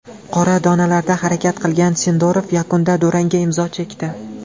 Qora donalarda harakat qilgan Sindorov yakunda durangga imzo chekdi.